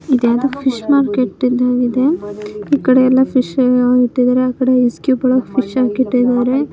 ಇದೇನೋ fish market ಇದ್ದಂಗ ಇದೆ. ಈ ಕಡೆ ಎಲ್ಲ ಫಿಶ್ ಎಲ್ಲ ಇಟ್ಟಿದಾರೆ ಆಕಡೆ ಐಸ್ ಕ್ಯೂಬ್ ಗಳನ್ನು ಇಟ್ಟಿದ್ದಾರೆ.